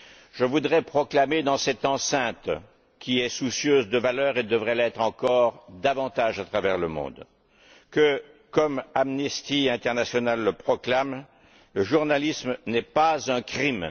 Je voudrais proclamer dans cette enceinte, qui est soucieuse de valeurs et devrait l'être encore davantage à travers le monde, que comme Amnesty International le proclame, le journalisme n'est pas un crime.